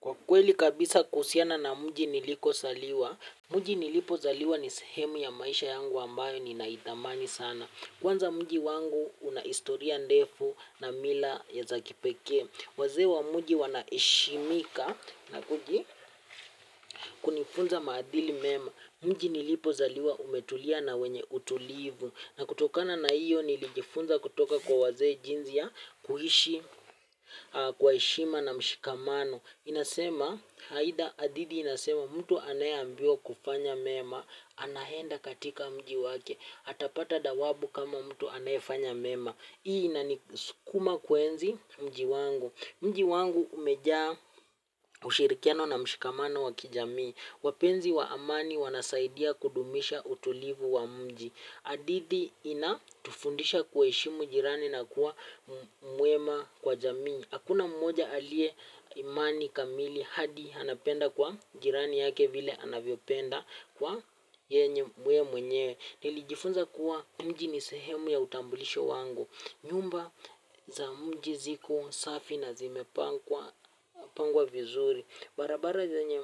Kwa kweli kabisa kuhusiana na mji nilikozaliwa, mji nilipozaliwa ni sehemu ya maisha yangu ambayo ninaithamini sana kwanza mji wangu una historia ndefu na mila za kipekee wazee wa mji wanaheshimika kwa kunifunza maadili mema mji nilipozaliwa umetulia na ni wenye utulivu. Na kutokana na hio nilijifunza kutoka kwa wazee jinsi ya kuishi kwa heshima na mshikamano. Haitha adidi inasema, mtu anayeambiwa kufanya mema anaenda katika mji wake atapata dhawabu kama mtu anayefanya mema. Hii inani sukuma kuenzi mji wangu. Mji wangu umejaa ushirikiano na mshikamano wa kijamii. Wapenzi wa amani wanasaidia kudumisha utulivu wa mji. Hadithi inatufundisha kuheshimu jirani na kuwa mwema kwa jamii. Hakuna mmoja aliye imani kamili hadi anapenda kwa jirani yake vile anavyopenda kwa yeye mwenyewe. Nilijifunza kuwa mji ni sehemu ya utambulisho wangu. Nyumba za mji ziko safi na zimepangwa vizuri. Barabara zenye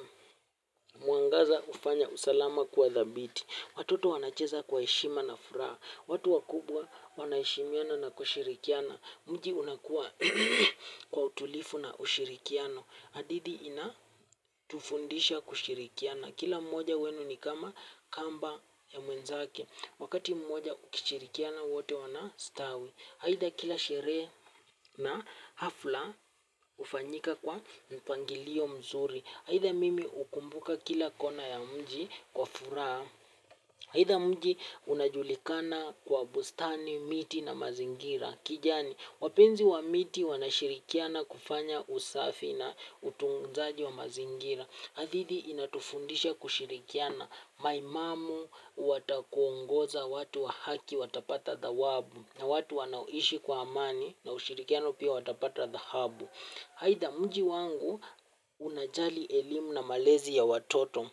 mwangaza hufanya usalama kuwa dhabiti, watoto wanacheza kwa heshima na furaha. Watu wakubwa wanaheshimiana na kushirikiana. Mji unakuwa kwa utulivu na ushirikiano. Hadithi ina tufundisha kushirikiana. Kila mwoja wenu ni kama kamba ya mwenzake. Wakati mmoja ukishirikiana wote wanastawi. Aidha kila sherehe na hafla hufanyika kwa mpangilio mzuri. Aidha mimi hukumbuka kila kona ya mji kwa furaha. Haida mwji unajulikana kwa bustani, miti na mazingira. Kijani wapenzi wa miti wanashirikiana kufanya usafi na utunzaji wa mazingira. Hadithi inatufundisha kuwa kushirikiama maiamamu watakuongoza. Wahaki watapata dhawabau na watu wanaoishi kwa amani na ushirikiano pia watapata dhahabu aitha, mji wangu unajali elimu na malezi ya watoto.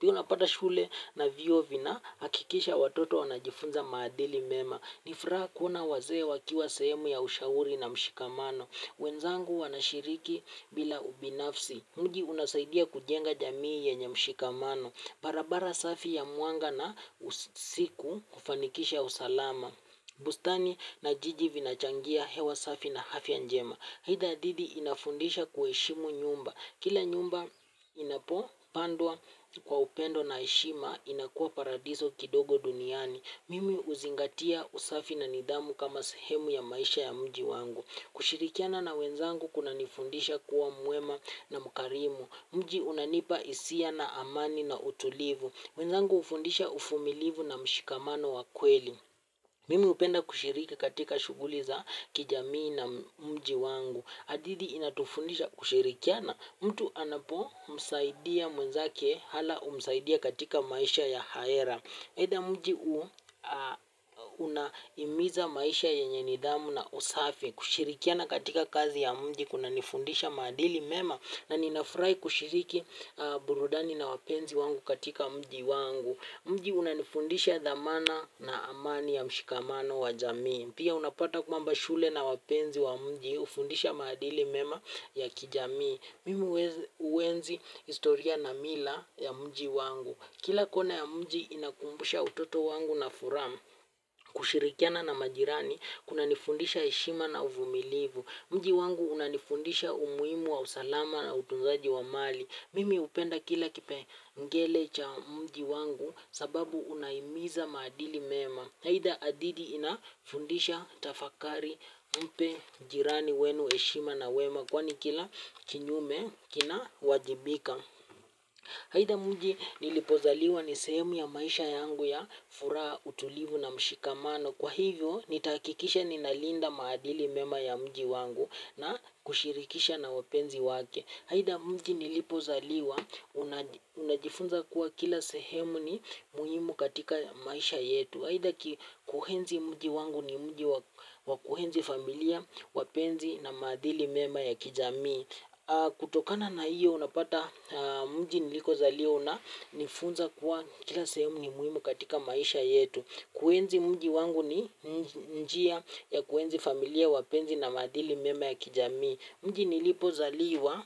Pia unapata shule na vyuo vinahakikisha watoto wanajifunza maadili mema. Ni furaha kuona wazee wakiwa sehemu ya ushauri na mshikamano wenzangu wanashiriki bila ubinafsi. Mji unasaidia kujenga jamii yenye mshikamano, barabara safi ya mwanga, na usiku kufanikisha usalama bustani na jiji vinachangia hewa safi na afya njema aitha thidi inafundisha kuheshimu nyumba kila nyumba inapopandwa kwa upendo na heshima inakuwa paradiso ndogo duniani mimi huzingatia usafi na nidhamu kama sehemu ya maisha ya mji wangu kushirikiana na wenzangu kumenifundisha kuwa mwema na mkarimu. Mji unanipa hisia na amani na utulivu. Wenzangu hufundisha uvumilivu na mshikamano wa kweli. Mimi hupenda kushiriki katika shughuli za kijamii na mji wangu hadithi inatufundisha kushirikiana. Mtu anapo msaidia mwenzake Alah humsaidia katika maisha ya ahera aidha mji unahimiza maisha yenye nidhamu na usafi kushirikiana katika kazi ya mji kunanifundisha maadili mema na ninafurahi kushiriki burudani na wapenzi wangu katika mji wangu. Mji unanifundisha dhamana na amani ya mshikamano wa jamii. Pia unapata mambo ya shule na wapenzi wa mji hufundisha madili mema ya kijamii. Mimi huenzi historia na mila ya mji wangu. Kila kona ya mji inakumbusha utoto wangu na furaha kushirikiana na majirani, kuna nifundisha heshima na uvumilivu. Mji wangu unanifundisha umuhimu wa usalama na utunzaji wa mali. Mimi hupenda kila kipengele cha mji wangu sababu unahimiza maadili mema. Aitha thidi inafundisha tafakari mpe jirani wenu heshima na wema kwani kila kinyume kina wajibika. Aitha mji nilipozaliwa ni sehemu ya maisha yangu ya furaha, utulivu na mshikamano. Kwa hivyo nitakikisha ninalinda maadili mema ya mji wangu na kushirikisha na wapenzi wake. Aitha mji nlipozaliwa unajifunza kila sehemu ni muhimu katika maisha yetu aitha kuenzi mji wangu ni mji wa kuenzi familia, wapenzi na maadili mema ya kijamii kutokana na hio unapata mji nilikozaliwa kuwa kila sehemu ni muhimu katika maisha yetu kuenzi mji wangu ni njia ya ku enzi familia wapenzi na maadili mema ya kijamii mji nilipozaliwa.